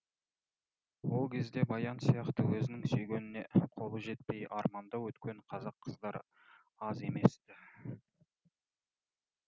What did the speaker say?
ол кезде баян сияқты өзінің сүйгеніне қолы жетпей арманда өткен қазақ қыздары аз емес ті